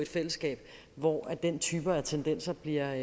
fællesskab hvor den type af tendenser bliver